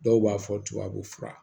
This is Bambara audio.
Dɔw b'a fɔ tubabu fura